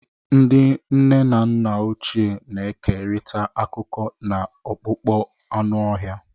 Ndị nne na nna ochie na-ekerịta akụkọ n'akpụkpọ anụ ọhịa.